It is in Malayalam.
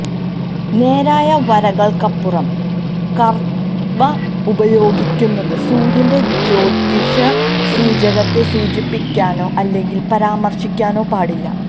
നേരായ വരകൾക്കുപകരം കർവ്വ് ഉപയോഗിക്കുന്നത് സൂര്യന്റെ ജ്യോതിഷ സൂചകത്തെ സൂചിപ്പിക്കാനോ അല്ലെങ്കിൽ പരാമർശിക്കാനോ പാടില്ല